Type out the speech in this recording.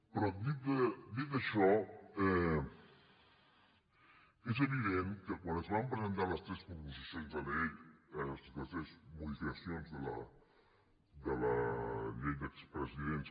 però dit això és evident que quan es van presentar les proposicions de llei les tres modificacions de la llei dels expresidents